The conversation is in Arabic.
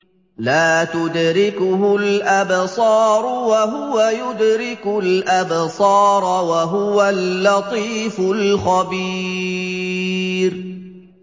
لَّا تُدْرِكُهُ الْأَبْصَارُ وَهُوَ يُدْرِكُ الْأَبْصَارَ ۖ وَهُوَ اللَّطِيفُ الْخَبِيرُ